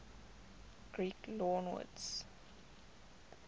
greek loanwords